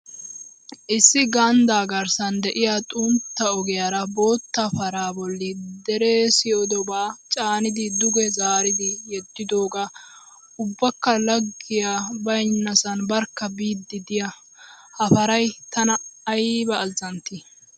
Issi ganddaa garssan de'iya xuntta ogiyaara bootta paraa bolli deree siyidobaa caanidi duge zaaridi yedidoogee ubbakka laaggiyay baynnasan barkka biid diya ha paray tana ayba azzantti!!